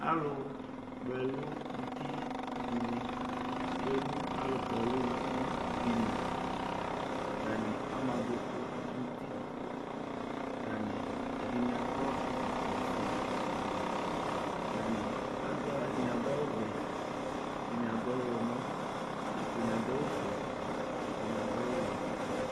alʋ kpɔ ɛlʋ nʋtidini tsʋenʋ alʋ kpɔ ɛlʋ dini atani ama adʋkʋ nʋ ʋti ɛdini akɔ ɛkɔtɔƒʋe atani ɛdini adʋ awʋvɛ ɛdini ɔwlɔmɔ ɛdini adʋ awʋƒʋe ɛdini adʋ awʋ wɛ